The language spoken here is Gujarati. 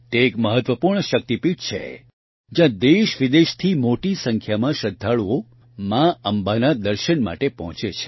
તે એક મહત્વપૂર્ણ શક્તિપીઠ છે જયાં દેશવિદેશથી મોટી સંખ્યામાં શ્રદ્ધાળુઓ મા અંબાના દર્શન માટે પહોંચે છે